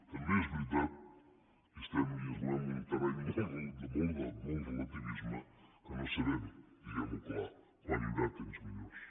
també és veritat i estem i ens movem en un terreny de molt relativisme que no sabem diguem ho clar quan hi haurà temps millors